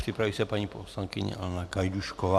Připraví se paní poslankyně Hana Gajdůšková.